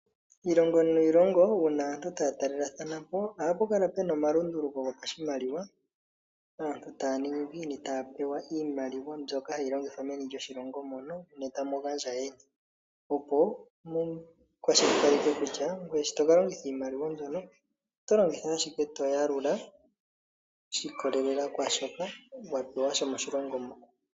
Iilongo niilongo una aantu taya talelathana po, oha pu kala puna omalunduluko gopashimaliwa. Aantu taya ningi ngiini? Taya pewa iimaliwa mbyono hayi longithwa meni lyoshilongo mono nee tamu gandja yeni. Opo mu kwashilipaleke kutya ngweye shotoka longitha iimaliwa mbyono oto longitha aashike to yalula. Shi ikolelela kwaashoka wa pewa shomoshilongo mo.